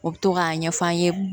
U bɛ to k'a ɲɛf'an ye